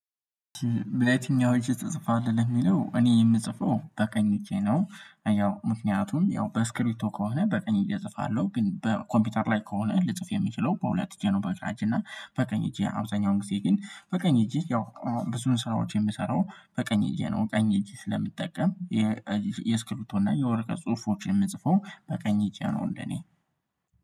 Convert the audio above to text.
በትኛው እጅህ ተጽፋለህ ለሚለው እኔ የምጽፈው በቀኝ እጄ ነው። ያው ምክንያቱም ያው በስክሪቶ ከሆነ በቀኝ እጄ እጽፋለሁ ግን በኮምፒውተር ላይ ከሆነ ልጽፍ የምችለው በሁለት እጄ ነው። በግራ እጄ እና በቀኝ እጄ አብዛኛውን ጊዜ ግን በቀኝ እጄ ያው ብዙን ስራዎች የምሰራው በቀኝ እጅ ነው ቀኝ እጄን ስለምጠቀም። የስክሪፕቶ እና የወርቀ ጽሁፎች የምጽፈው በቀኝ እጄ ነው። እኔ